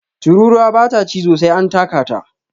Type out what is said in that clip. Tururuwa ba ta cizo sai an taka ta